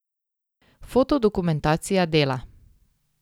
Fotodokumentacija Dela.